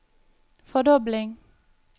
fordobling